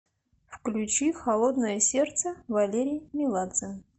включи холодное сердце валерий меладзе